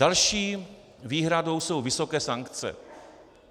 Další výhradou jsou vysoké sankce.